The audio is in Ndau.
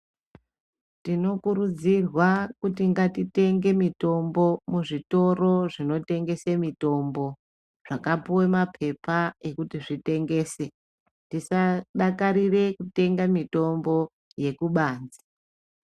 Tinokurudzirwa kuti ngatitenge mitombo muzvitoro zvinotengese mitombo, zvakapuwe mapepa ekuti zvitengese. Tisadakarire kutenga mitombo yekubanze.